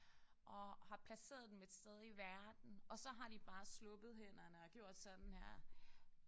Og har placeret dem et sted i verden og så har de bare sluppet hænderne og gjort sådan her